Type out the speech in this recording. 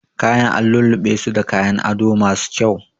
Kayan an lulluɓesu da kayan ado masu kyau